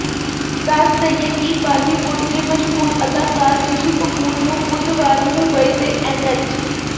ਦੱਸ ਦਈਏ ਕਿ ਬਾਲੀਵੁੱਡ ਦੇ ਮਸ਼ਹੂਰ ਅਦਾਕਾਰ ਰਿਸ਼ੀ ਕਪੂਰ ਨੂੰ ਬੁੱਧਵਾਰ ਨੂੰ ਮੁੰਬਈ ਦੇ ਐਨਐਚ